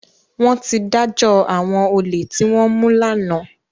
Wọ́n ti dájọ́ àwọn olè tí wọ́n mú lánàá